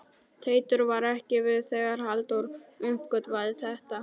Teitur var ekki við þegar Halldór uppgötvaði þetta.